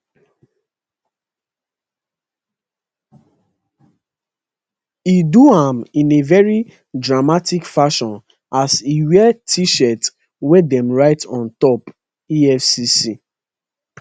e do am in a very dramatic fashion as e wear tshirt wey dem write on top efcc